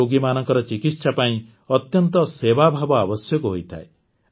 ଏହି ରୋଗୀମାନଙ୍କର ଚିକିତ୍ସା ପାଇଁ ଅତ୍ୟନ୍ତ ସେବାଭାବ ଆବଶ୍ୟକ ହୋଇଥାଏ